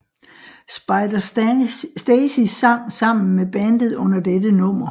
Spider Stacy sang sammen med bandet under dette nummer